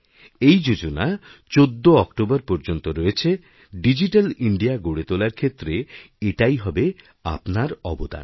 এই যোজনা ১৪ অক্টোবরপর্যন্ত রয়েছে ডিজিট্যাল ইণ্ডিয়া গড়ে তোলার ক্ষেত্রে এটাই হবে আপনার অবদার